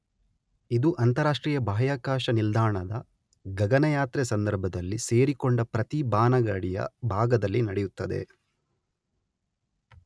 ಇದು ಅಂತರರಾಷ್ಟ್ರೀಯ ಬಾಹ್ಯಾಕಾಶ ನಿಲ್ದಾಣದ ಗಗನಯಾತ್ರೆಯ ಸಂದರ್ಭದಲ್ಲಿ ಸೇರಿಕೊಂಡ ಪ್ರತಿ ಬಾನಗಾಡಿಯ ಭಾಗದಲ್ಲಿ ನಡೆಯುತ್ತದೆ.